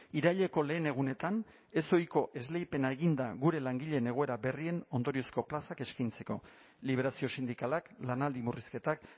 iraileko lehen egunetan ezohiko esleipena egin da gure langileen egoera berrien ondoriozko plazak eskaintzeko liberazio sindikalak lanaldi murrizketak